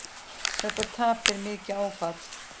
Þetta tap er mikið áfall.